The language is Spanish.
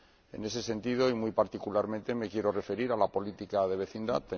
En ese sentido, y muy particularmente, me quiero referir a la política de vecindad.